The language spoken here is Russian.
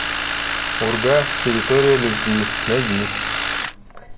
урга территория любви найди